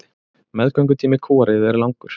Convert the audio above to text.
Meðgöngutími kúariðu er langur.